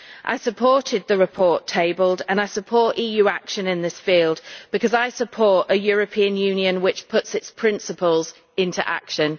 I supported the report tabled and I support EU action in this field, because I support a European Union which puts its principles into action.